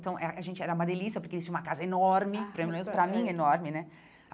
Então, eh a gente era uma delícia porque eles tinham uma casa enorme, pelo menos para mim enorme, né?